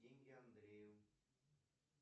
деньги андрею